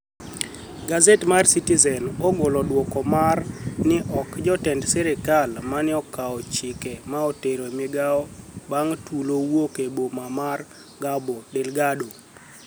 Gazet mar citizeni ogolo duoko mar nii ok jotenid sirkal mani e okao chick mar tero migao banig tulo wuok e boma mar Cabo Delgado.